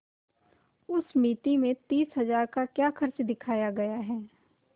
उस मिती में तीस हजार का क्या खर्च दिखाया गया है